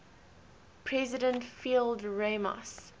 president fidel ramos